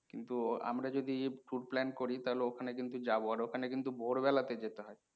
কিন্তু আমরা যদি tour plan করি ওখানে কিন্তু যাবো, ওখানে কিন্তু ভোরবেলাতে যেতে হয়।